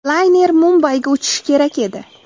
Layner Mumbayga uchishi kerak edi.